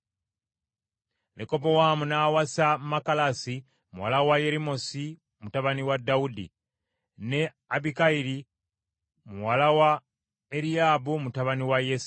Lekobowaamu n’awasa Makalasi muwala wa Yerimosi mutabani wa Dawudi, ne Abikayiri muwala wa Eriyaabu mutabani wa Yese,